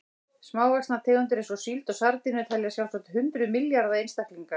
Smávaxnar tegundir eins og síld og sardínur telja sjálfsagt hundruð milljarða einstaklinga.